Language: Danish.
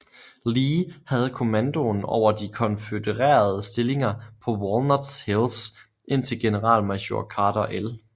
Lee havde kommandoen over de konfødererede stillinger på Walnut Hills indtil generalmajor Carter L